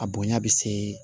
A bonya bɛ se